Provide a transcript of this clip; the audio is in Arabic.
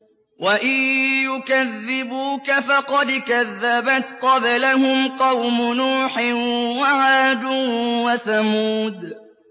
وَإِن يُكَذِّبُوكَ فَقَدْ كَذَّبَتْ قَبْلَهُمْ قَوْمُ نُوحٍ وَعَادٌ وَثَمُودُ